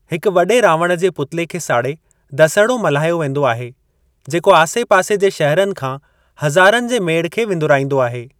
हिकु वडे॒ रावण जे पुतले खे साड़े दसिहड़ो मल्हायो वेंदो आहे, जेको आसे-पासे जे शहरनि खां हज़ारनि जे मेड़ु खे विंदुराईंदो आहे।